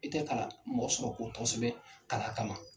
I tɛ kalan mɔgɔ sɔrɔ ko tɔgɔ sɛbɛn kalan kama.